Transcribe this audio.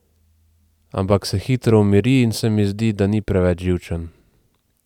Ampak se hitro umiri in se mi zdi, da ni preveč živčen.